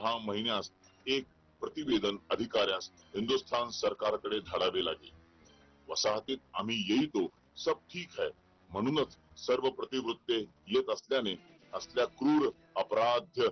या महिन्यात एका प्रति वेतन अधिकाऱ्यांस हिंदुस्थान सरकारकडे धाडवे लागले वसाहतीत आम्ही येतो सब ठीक है म्हणून च सर्व प्रतिवृत्त येत असल्यास क्रूर, अपराध